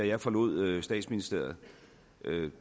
jeg forlod statsministeriet